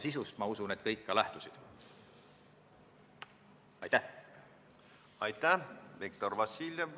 Seetõttu lükatakse lõike 2 kehtima hakkamist, et kohe teha 21 000 euro suurune ettemaks, viieks aastaks edasi.